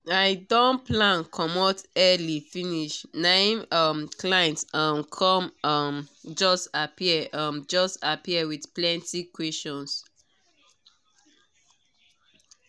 i don plan comot early finish na em um client um come um just appear um just appear with plenty questions